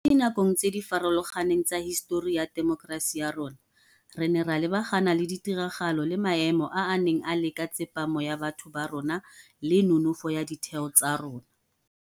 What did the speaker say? Mo dinakong tse di farologaneng tsa hisetori ya temokerasi ya rona, re ne ra lebagana le ditiragalo le maemo a a neng a leka tsepamo ya batho ba rona le nonofo ya ditheo tsa rona.